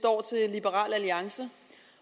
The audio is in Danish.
liberal alliance